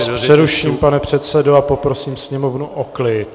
Já vás přeruším, pane předsedo, a poprosím sněmovnu o klid.